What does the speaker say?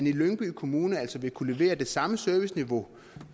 i lyngby kommune altså vil kunne levere det samme serviceniveau